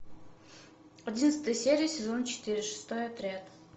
одиннадцатая серия сезон четыре шестой отряд